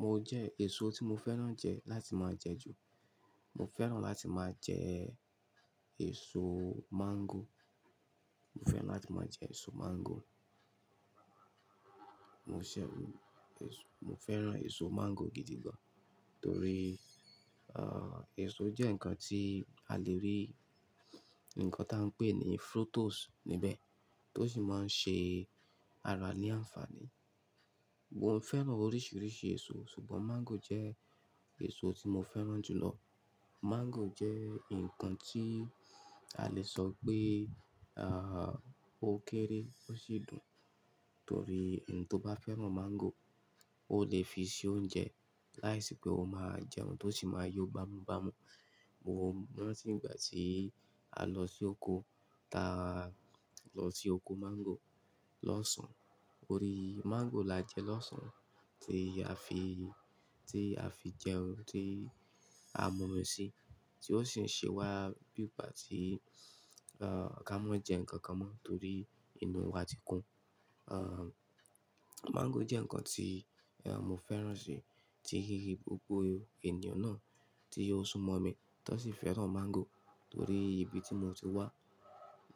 Mo jẹ ẹ̀so tí mo fẹ́ràn jẹ láti má jẹ jù. Mo fẹ́ràn láti má jẹ èso máńgò. Mo fẹ́ràn láti má jẹ èso máńgò. Mo ṣẹ̀ mo fẹ́ràn èso máńgò gidi gan. Tórì èso jẹ́ ǹnkan tí a le rí ǹnkan tí à ń pè ní fructose níbẹ́, tó ṣì má ń ṣe ara ní aǹfàní. Mo fẹ́ràn oríṣiríṣi èso, ṣùgbón máńgò jẹ́ èso tí mo fẹ́ràn jù lọ. Máńgò jẹ́ ǹnkan tí a lẹ ṣọ̀ pe ó kéré ò ṣì dùn, tórì ẹ̀ni tí ó bá fẹ́ràn máńgò, ó le fi ṣe ounjẹ láìṣi pé ó máa jẹ oun tí ó ṣi máa yó bámú bámú. Mo ranti ìgbà tí a lọ sí okò tàa lọ sí okò máńgò lọ́sàn. Torí máńgò lá jẹ lọ́sàn, tí a fi tí a fi jẹ oun tí a múmi sí, tí ó ṣi ń ṣẹ wá bí ìgbà tí ká mọ́ jẹ ǹnkan kan mọ́, tórì inú wà tí kún. Máńgò jẹ́ ǹnkan tí mo fẹ́ràn sí, tíi gbogbo ènìyàn ná tí ó ṣún mọ̀mí tan ṣi fẹ́ràn máńgò. Tórì ibi tí mo tí wá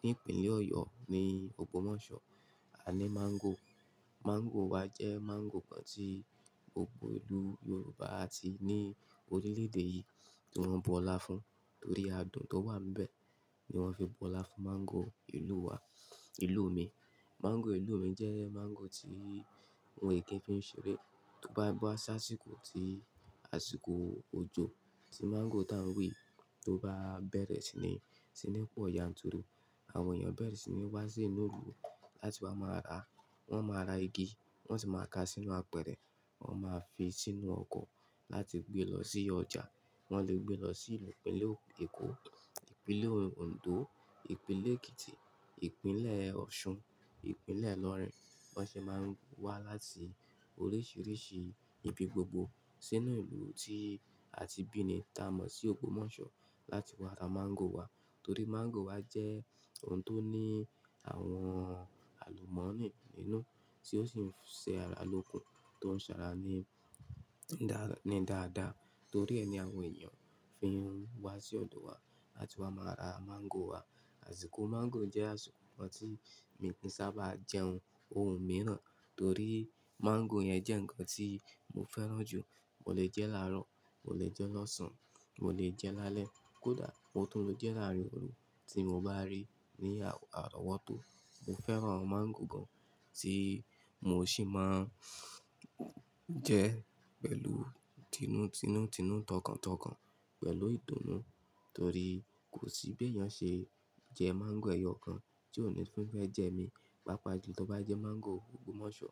ní ìpìnlẹ̀ Ọ̀yò ni Ògbòmọ̀ṣọ, a ní máńgò. Máńgò wà jẹ máńgò kan tí gbogbo ìlú Yorùbá atí ní orilé-èdè yí tí wọ́n bọ́lá fún, tórì adùn tó wà níbẹ́ ni wọ́n fi bọ́lá fún máńgò ìlú wà, ìlù mi. Máńgò ìlù mi jẹ́ máńgò tí ǹwòn kíì fí ń ṣeré. To bá bọ́ sáṣikò tí aṣikò ojò tí máńgò tán wí tó bá bẹ̣̀rẹ̀ ṣi ní, ṣi ní pọ̀ọ̀ yànturu. Àwọn ènìyàn bẹ̣̀rẹ̀ ṣi ní wá sí inú ìlù láti wa máa ra. Wọ́n máa ra igi, wọ́n ṣi máa ká sínú àpẹ̀rẹ̀, wọ́n máa fí sínú ọ̀kò láti gbé lọ sí ọ̀jà. Wọ́n le gbé lọ sí ìpìnlẹ̀ Èkò, ìpìnlẹ̀ Oǹdó, ìpìnlẹ̀ Èkìtì, ìpìnlẹ̀ Òṣun, ìpìnlẹ̀ Ilọ̀r̀in. Bọ́n ṣe máa ń wá láti oríṣiríṣi ibi gbogbo sínú ìlù tí a tí bími tà mọ̀ sí Ògbòmọ̀ṣọ láti wá ra máńgò wa. Tórì máńgò wa jẹ́ oun tó ní àwọn àlùmọ́nì nínú, tí ó ṣi ń ṣe ara lókun, tó ṣárá ní ní dáa dáa. Tórí ẹ̀nì àwọn ènìyàn fí ń wá sí ọ̀dò wa láti wá máa ra máńgò wa. Aṣikò máńgò jẹ́ aṣikò kan tí mi kií ṣábàa jẹ oun ohun míràn, torí máńgò yẹn jẹ́ ǹnkan tí mo fẹ́ràn jù. Mo le jẹ́ láárò, mo le jẹ́ lọ́sàn, mo le jẹ lálẹ, kó dàa, mo tún le jẹ́ láriń oru tí mo bá rí ní ààrọ̀wọ́ tò. Mo fẹ́ràn máńgò gan tí mo ṣi máa jẹ pẹ̀lú tinú tinú tinú tọ̀kàn tọ̀kan, pẹ̀lú ìtunú. Torí kò ṣi bí ènìyàn ṣe jẹ máńgò ẹ̀yọ̀ kan tí ò ní tun fẹ́ jẹ mi. Pápàájù tó bá jẹ máńgò Ògbòmọ̀ṣọ,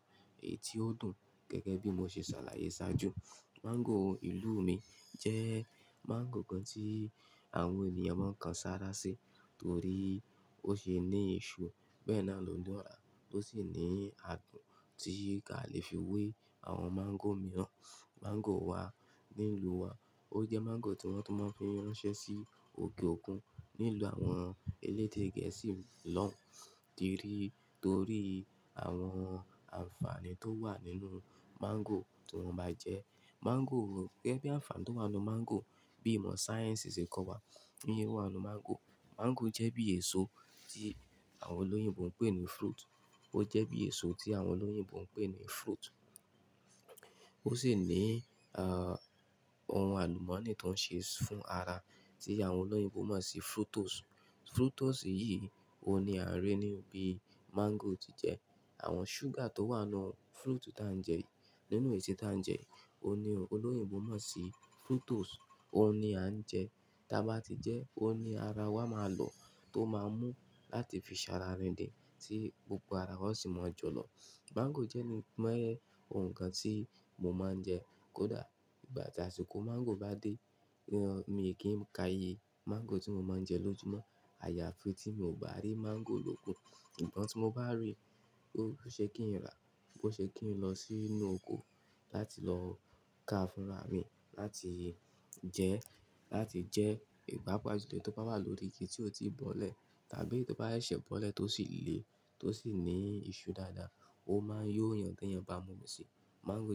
èyí tí ó dùn. Gẹ̀gẹ́ bí mo ṣe ṣàlàyé ṣájù. Máńgò ìlù mi jẹ́ máńgò kan tí àwọn ènìyàn máa ń kan sárá sí. Torí ó ṣe ní iṣu, bẹ́èní à lò dun, ó ṣi ní adùn tí kí a le fi wé àwọn máńgò míràn. Máńgò wa ní ìlù wa, ó jẹ máńgò tí wọ́n tún má ń fí ráńṣé sí òkè òkun ní ìlù àwọn elédè Gẹ̀ẹ̀ṣi lọ̀n tìrí. Torí àwọn aǹfàní tó wà nínú máńgò tí wón báa jẹ. Máńgò gẹ́gẹ́ bi aǹfàní tó wà nínú máńgò bí ìmọ̀ ṣáyẹ̀ńṣi ṣe ń kọ wa. Tio wà nínú máńgò. Máńgò jẹ́ bí èso tí àwọn ọlóyìnbó ń pè ní fruit. Ó jẹ bí èso tí àwọn ọlóyìnbó ń pè ní fruit. Ó ṣi ní à ohun àlùmọ̀nì tó ń ṣe fún ara tí àwọn ọlóyìnbó mon ṣi fructose. Fructose yìí ó ní à ń ri ní bí máńgò tí jẹ. Àwọn sugar tó wà nínú fruit tá ń jẹ, nínú èso tá ń jẹ, ó ní ọlóyìnbó máa ń ṣi fructose, ó ní a ń jẹ. Tí a bá tí jẹ, ó ní ara wa máa lo tó máa mú láti fi ṣàrà riǹdin, tí gbogbo ara wa ó ṣi máa jọ̀lọ. Máńgò jé ní oun kan tí mo máa ń jẹ. Kó dàa, ìgbà tí aṣikò máńgò bá dé, mi kìí ka ye máńgò tí mo máa ń jẹ lójúmọ́. Ayàfi tí mio bá rí máńgò lókun. Sugbon tí mo bá rí, ó ṣe kí ń ra, ó ṣi kí ń lọ sínú okò láti lọ káa fún rá mi, láti jẹ, láti jẹ papàà jù tó bá wà lórí igi tí ò tí bọ̀lẹ̀ tàbí eyi to bá ṣè bọ̀lẹ tó ṣi lé, tó ṣi ní iṣu dáadàa. Ó máa yó èeyàn te ènìyàn bá múmi sí. Máńgò.